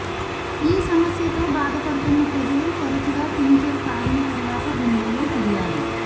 ఈ సమస్య బాధపడుతున్న ప్రజలు తరచుగా టింక్చర్ త్రాగిన తరువాత గుండెల్లో ఫిర్యాదు